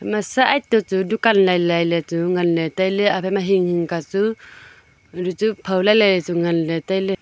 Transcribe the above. ma side to chu dukan lailai ley chu ngan le tailey agama hinghing ka chu rachu phau lailai chu ngan ley tailey.